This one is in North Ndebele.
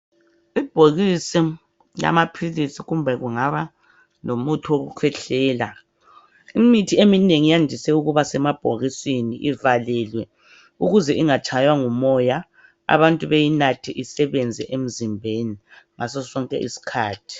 Ibhokisi lamaphilisi kumbe kungaba lomuthi wokukhwehlela . Imithi eminengi iyandise ukuba semabhokisini ivalile ukuze ingatshaywa ngu moya , abantu beyinathe isebenze emzimbeni ngaso sonke isikhathi.